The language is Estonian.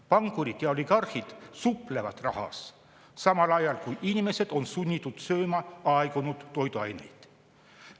Pankurid ja oligarhid suplevad rahas, samal ajal kui paljud inimesed on sunnitud sööma aegunud toiduaineid.